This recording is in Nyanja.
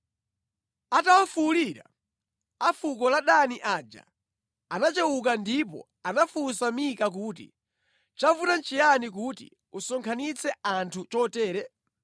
Atawafuwulira, a fuko la Dani aja anachewuka ndipo anafunsa Mika kuti, “Chavuta nʼchiyani kuti usonkhanitse anthu chotere?”